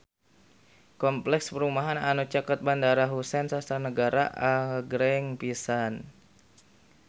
Kompleks perumahan anu caket Bandara Husein Sastra Negara agreng pisan